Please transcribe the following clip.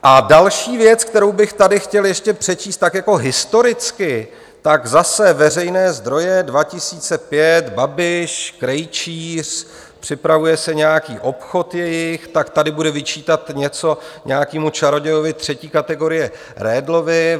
A další věc, kterou bych tady chtěl ještě přečíst tak jako historicky, tak zase veřejné zdroje, 2005, Babiš, Krejčíř, připravuje se nějaký obchod jejich, tak tady bude vyčítat něco nějakému čarodějovi třetí kategorie Redlovi.